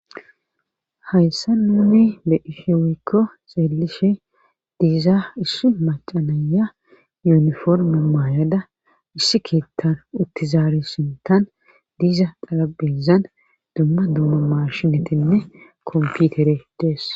Hayssa nuumi be ishewikko xeelishe diiza issi macanaya yuniforma maayada issi kiettan uttizaari sintan diiza qalabezan dumma dumma mashinetenne komputere dees.